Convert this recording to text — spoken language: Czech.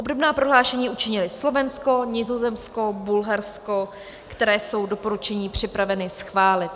Obdobná prohlášení učinily Slovensko, Nizozemsko, Bulharsko, které jsou doporučení připraveny schválit.